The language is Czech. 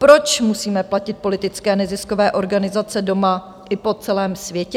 Proč musíme platit politické neziskové organizace doma i po celém světě?